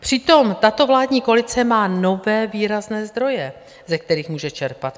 Přitom tato vládní koalice má nové výrazné zdroje, ze kterých může čerpat.